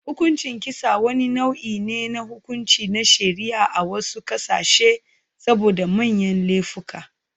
Hukuncin kisa, wani nau'i ne na hukunci na shari'a a wasu ƙasashe saboda manyan laifuka.